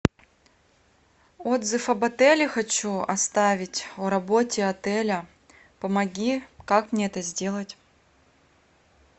отзыв об отеле хочу оставить о работе отеля помоги как мне это сделать